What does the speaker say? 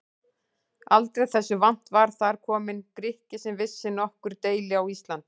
Aldrei þessu vant var þar kominn Grikki sem vissi nokkur deili á Íslandi!